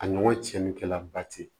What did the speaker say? A ɲɔgɔn cɛnni kɛla ba ten